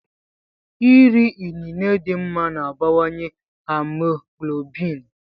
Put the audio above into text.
Iri inine dị mma na-abawanye haemoglobin.